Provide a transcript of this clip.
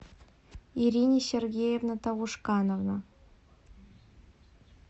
ирина сергеевна таушканова